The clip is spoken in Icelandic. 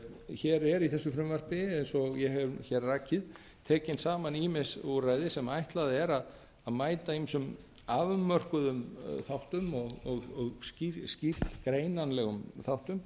hér eru í þessu frumvarpi eins og ég hef hér rakið tekin saman ýmis úrræði sem ætlað er að mæta ýmsum afmörkuðum þáttum og skýrt greinanlegum þáttum